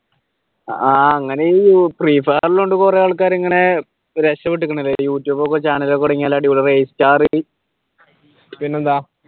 ആഹ് അങ്ങനെ free fire കൊണ്ട് കുറെ ആൾക്കാർ ഇങ്ങനെ രക്ഷപ്പെട്ടിരുക്കുന്നല്ലേ youtube channel ഒക്കെ തുടങ്ങിയ അടിപൊളി പിന്നെന്താ?